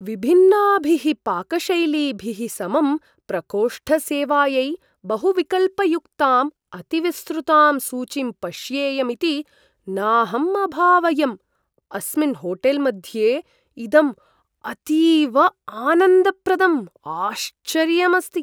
विभिन्नाभिः पाकशैलीभिः समं प्रकोष्ठसेवायै बहुविकल्पयुक्ताम् अतिविस्तृतां सूचीं पश्येयम् इति नाहम् अभावयम्। अस्मिन् होटेल्मध्ये इदम् अतीव आनन्दप्रदम् आश्चर्यम् अस्ति!